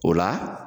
O la